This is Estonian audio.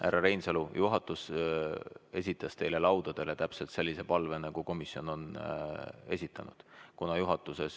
Härra Reinsalu, juhatus esitas teile laudadele täpselt sellise palve, nagu komisjon meile esitas.